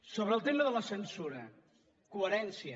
sobre el tema de la censura coherència